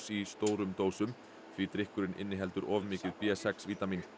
í stórum dósum því drykkurinn inniheldur of mikið b sex vítamín